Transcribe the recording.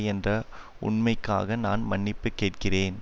என்ற உண்மைக்காக நான் மன்னிப்பு கேட்கிறேன்